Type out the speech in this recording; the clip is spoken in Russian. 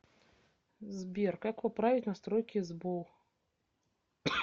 сбер как поправить настройки сбол